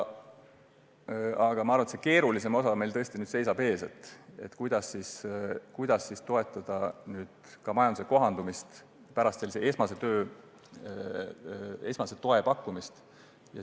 Aga ma arvan, et keerulisem osa seisab meil alles ees – see, kuidas toetada majanduse kohandumist pärast esmase toe pakkumist.